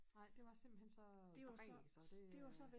Nej det var simpelthen så bræg så det øh